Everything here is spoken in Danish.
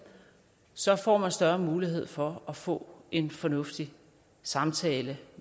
så får man større mulighed for at få en fornuftig samtale